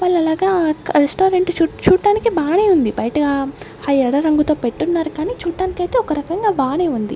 వాళ్లు అలాగా ఆ రెస్టారెంట్ చూడటానికి బానే ఉంది బయట ఆ ఎర్ర రంగుతో పెట్టున్నారు కానీ చూడటానికి ఒక రకంగా బానే ఉంది.